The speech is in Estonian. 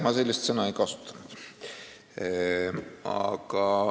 Ma sellist väljendit ei kasutanud.